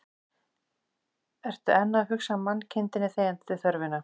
Ertu enn að hugsa mannkindinni þegjandi þörfina